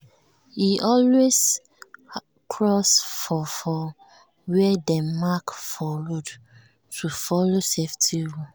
e always cross for for where dem mark for road to follow safety rule.